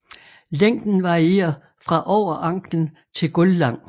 Længden varierer fra over anklen til gulvlang